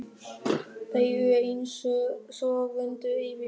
Þeir eru einsog vöndur yfir mér.